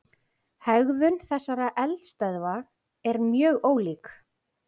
Hegðun þessara eldstöðva er mjög ólík.